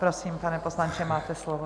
Prosím, pane poslanče, máte slovo.